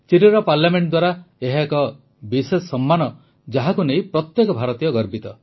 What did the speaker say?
ଚିଲିର parliament ଦ୍ୱାରା ଏହା ଏକ ବିଶେଷ ସମ୍ମାନ ଯାହାକୁ ନେଇ ପ୍ରତ୍ୟେକ ଭାରତୀୟ ଗର୍ବିତ